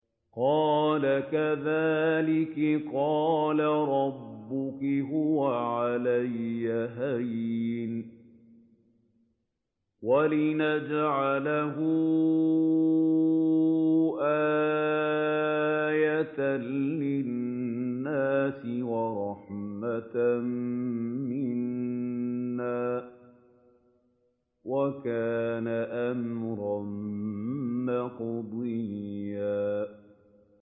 قَالَ كَذَٰلِكِ قَالَ رَبُّكِ هُوَ عَلَيَّ هَيِّنٌ ۖ وَلِنَجْعَلَهُ آيَةً لِّلنَّاسِ وَرَحْمَةً مِّنَّا ۚ وَكَانَ أَمْرًا مَّقْضِيًّا